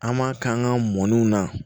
An m'a k'an ka mɔniw na